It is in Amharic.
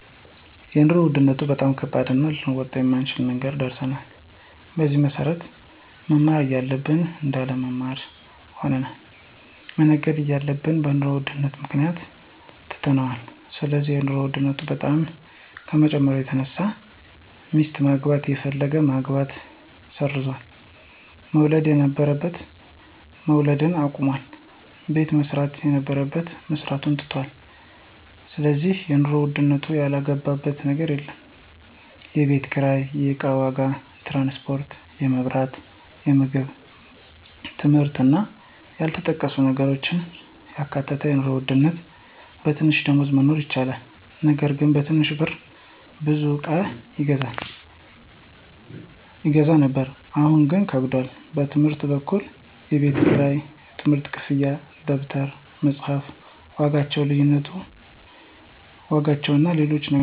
የኑሮ ውድነቱ በጣም ከባድና ልንወጣው ከማንችለው ነገር ደርሰናል። በዚህም መሰረት መማር እያለብን እንዳንማር ሆነናል፣ መነገድ እየፈለግን በኑሮ ውድነቱ ምክንያት ትተነዋል ስለዚህ የኑሮ ውድነቱ በጣም ከመጨመሩ የተነሳ ሚስት ማግባት የፈለገ ማግባቱን ሰርዟል፣ መውለድ የነበረበት መውለድ አቁሟል፣ ቤት መስራት የነበረበት መስራቱን ትቶታል ስለዚህ የኑሮ ውድነቱ ያልገባበት ነገር የለም፣ የቤት ኪራይ፣ የእቃ ዋጋ፣ ትራንስፖርት፣ የመብራት፣ የምግብ የትምህርት እና ያልተጠቀሱ ነገሮችን ያካተተ ነው ድሮ ድሮ በትንሽ ደሞዝ መኖር ይቻል ነበር በትንሽ ብር ብዙ እቃ ይገዛ ነበር አሁን ግን ከብዷል። በትምህርት በኩል የቤት ክራይ፣ የትምህርት ክፍያ፣ ደብተሮች፣ የመፅሐፍ ዋጋዎችና ሎሎችም ነገሮች ፈታኞች ናቸው።